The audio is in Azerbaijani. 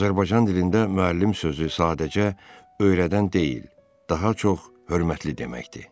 Azərbaycan dilində müəllim sözü sadəcə öyrədən deyil, daha çox hörmətli deməkdir.